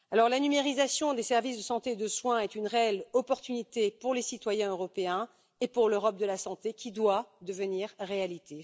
La numérisation des services de santé et de soins est une réelle opportunité pour les citoyens européens et pour l'Europe de la santé, qui doit devenir réalité.